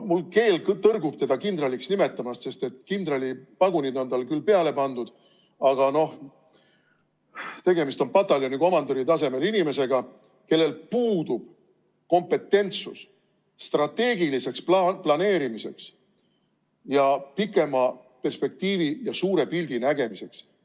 Mu keel tõrgub teda kindraliks nimetamast, sest kindralipagunid on talle küll peale pandud, aga tegemist on pataljonikomandöri tasemel inimesega, kellel puudub strateegilise planeerimise, pikema perspektiivi ja suure pildi nägemise kompetentsus.